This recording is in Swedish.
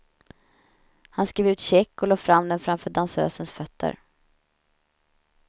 Han skrev ut check och lade fram den framför dansösens fötter.